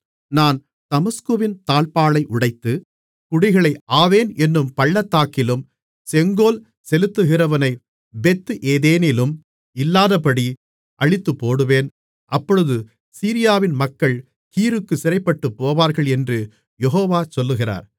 நான் தமஸ்குவின் தாழ்ப்பாளை உடைத்து குடிகளை ஆவேன் என்னும் பள்ளத்தாக்கிலும் செங்கோல் செலுத்துகிறவனை பெத் ஏதேனிலும் இல்லாதபடி அழித்துப்போடுவேன் அப்பொழுது சீரியாவின் மக்கள் கீருக்குச் சிறைப்பட்டுப்போவார்கள் என்று யெகோவா சொல்லுகிறார்